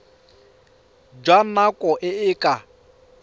jwa nako e e ka